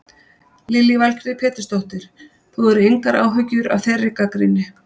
Lillý Valgerður Pétursdóttir: Þú hefur engar áhyggjur af þeirri gagnrýni?